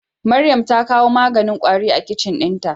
Maryam ta kawo maganin kwari a kicin dinta.